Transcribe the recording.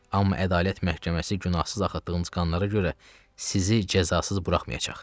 Amma ədalət məhkəməsi günahsız axıtdığınız qanlara görə sizi cəzasız buraxmayacaq.